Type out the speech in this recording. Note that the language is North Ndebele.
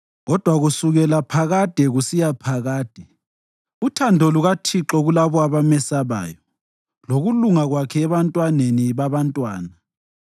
Kodwa kusukela phakade kusiya phakade uthando lukaThixo lukulabo abamesabayo, lokulunga Kwakhe ebantwaneni babantwana